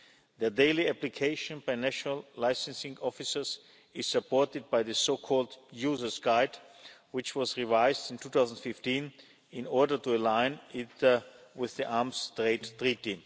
Their daily application by national licensing officers is supported by the so-called User's Guide, which was revised in 2015 in order to align it with the Arms Trade Treaty.